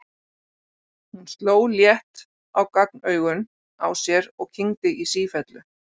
Hún sló létt á gagnaugun á sér og kyngdi í sífellu.